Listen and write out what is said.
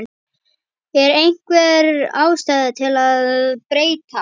Er einhver ástæða til að breyta?